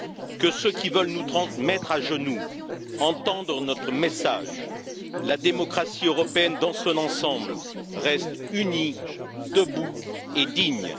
Que ceux qui veulent nous mettre à genoux entendent notre message la démocratie européenne dans son ensemble reste unie, debout et digne.